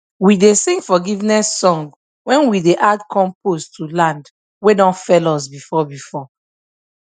we dey sing forgiveness song when we dey add compost to land wey don fail us before before